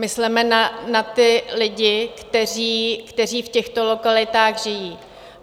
Mysleme na ty lidi, kteří v těchto lokalitách žijí.